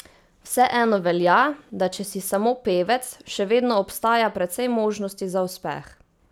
Vseeno velja, da če si samo pevec, še vedno obstaja precej možnosti za uspeh.